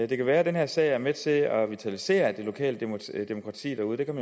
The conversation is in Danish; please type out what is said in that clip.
det kan være at den her sag er med til at vitalisere det lokale demokrati derude det kan